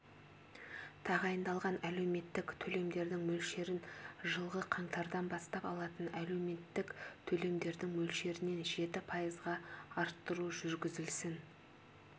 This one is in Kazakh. тағайындалған әлеуметтік төлемдердің мөлшерін жылғы қаңтардан бастап алатын әлеуметтік төлемдердің мөлшерінен жеті пайызға арттыру жүргізілсін